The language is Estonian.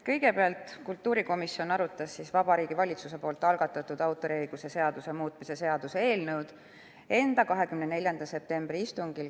Kõigepealt arutas kultuurikomisjon Vabariigi Valitsuse algatatud autoriõiguse seaduse muutmise seaduse eelnõu k.a 24. septembril.